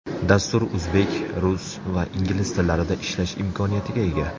Dastur o‘zbek, rus va ingliz tillarida ishlash imkoniyatiga ega.